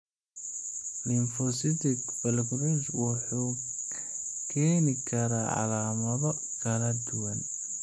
Lymphocytic vasculitis wuxuu keeni karaa calaamado kala duwan.